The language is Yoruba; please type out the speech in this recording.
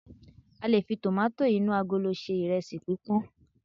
q lè fi tomato inu agolo se iresi pipọn